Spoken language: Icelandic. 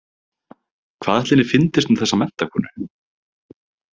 Hvað ætli henni fyndist um þessa menntakonu?